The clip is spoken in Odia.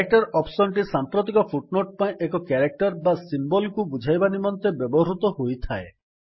କ୍ୟାରେକଟର ଅପ୍ସନ୍ ଟି ସାମ୍ପ୍ରତିକ ଫୁଟ୍ ନୋଟ୍ ପାଇଁ ଏକ କ୍ୟାରେକ୍ଟର୍ ବା ସିମ୍ୱଲ୍ସଙ୍କେତକୁ ବୁଝାଇବା ନିମନ୍ତେ ବ୍ୟବହୃତ ହୋଇଥାଏ